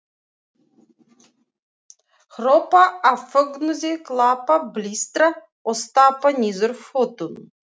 Hrópa af fögnuði, klappa, blístra og stappa niður fótunum!